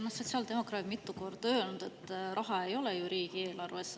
No sotsiaaldemokraadid on mitu korda öelnud, et raha ei ole riigieelarves.